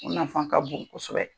O nafan ka bon kosɛbɛ